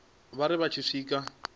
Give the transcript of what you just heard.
vha ri vha tshi swika